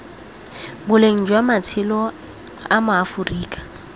boleng jwa matshelo a maaforika